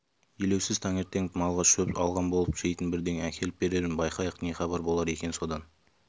елеусіз таңертең малға шөп алған болып жейтін бірдеңе әкеліп берермін байқайық не хабар болар екен содан